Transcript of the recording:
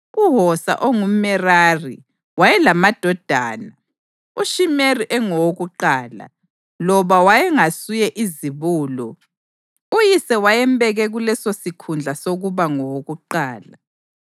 UHosa ongumʼMerari wayelamadodana: uShimiri engowakuqala (loba wayengasuye izibulo, uyise wayembeke kulesosikhundla sokuba ngowokuqala),